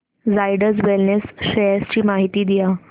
Zydus wellness shares ची माहिती द्या